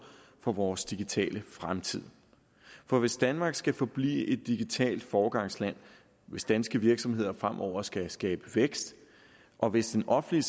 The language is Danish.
for vores digitale fremtid for hvis danmark skal forblive et digitalt foregangsland hvis danske virksomheder fremover skal skabe vækst og hvis den offentlige